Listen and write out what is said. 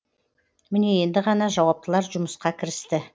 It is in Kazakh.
міне енді ғана жауаптылар жұмысқа кірісті